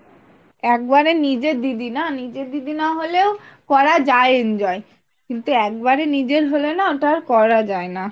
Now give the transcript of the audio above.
একবারে নিজের দিদি না নিজের দিদি না হলেও করা যায় enjoy কিন্তু একবারে নিজের হলে না ওটা আর করা যায়না